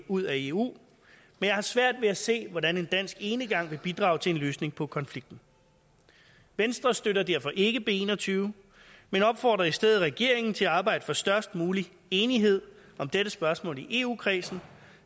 ud af eu men jeg har svært ved at se hvordan en dansk enegang vil bidrage til en løsning på konflikten venstre støtter derfor ikke b en og tyve men opfordrer i stedet regeringen til at arbejde for størst mulig enighed om dette spørgsmål i eu kredsen